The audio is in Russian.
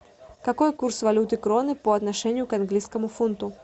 какой курс валюты кроны по отношению к английскому фунту